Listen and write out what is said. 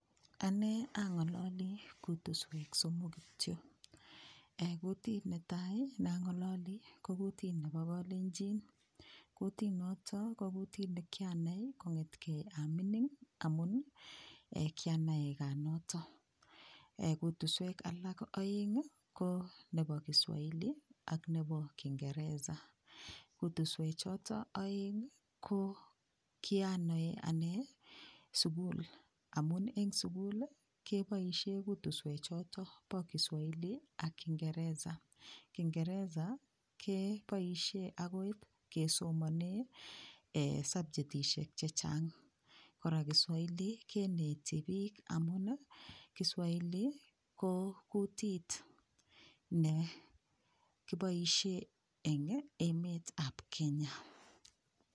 Anee angololi kutuswek somok kityo eng kutit netai nangololi ko kutit nebo kalenjin kutinoto ko kutit nekianai kongetkei amining amun kianae kaa noto kutuswek alak oeng ko nebo kiswahili ak nebo kingereza kutuswechoto oeng ko kianoe anee sukul amun eng sukul keboishe kutuswe choto bo kiswahili ak kingereza kingeresa keboishe akoi kesomone subjetishek chechang kora kiswahili keneti piik amun kiswahili ko kutit nekiboishe eng emet ab kenya